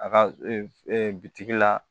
A ka e bitigi la